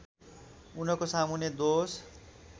उनको सामुन्ने दोष